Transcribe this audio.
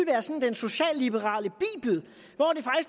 socialliberal